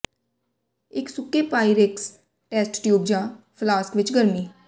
ਇੱਕ ਸੁੱਕੇ Pyrex test tube ਜਾਂ ਫਲਾਸਕ ਵਿੱਚ ਗਰਮੀ